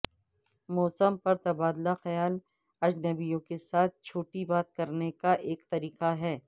موسم پر تبادلہ خیال اجنبیوں کے ساتھ چھوٹی بات کرنے کا ایک طریقہ ہے